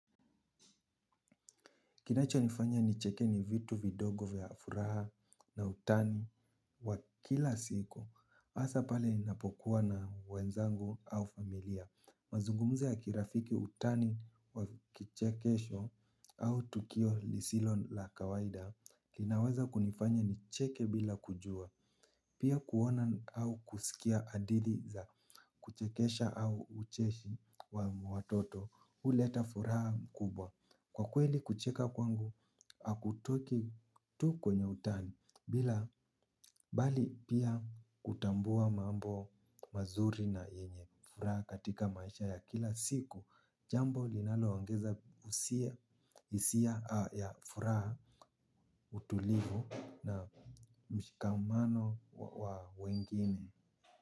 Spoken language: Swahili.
Kinachonifanya nicheke ni vitu vidogo vya furaha na utani wa kila siku. Hasa pale ninapokuwa na wenzangu au familia. Mazungumzo ya kirafiki utani wa kichekesho au tukio lisilo la kawaida linaweza kunifanya nicheke bila kujua. Pia kuona au kusikia hadithi za kuchekesha au ucheshi wa watoto huleta furaha mkubwa. Kwa kweli kucheka kwangu hakutoki tu kwenye utani bila bali pia kutambua mambo mazuri na yenye furaha katika maisha ya kila siku jambo linaloongeza hisia ya furaha utulivu na mshikamano wa wengine.